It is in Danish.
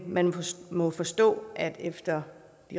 man må forstå at efter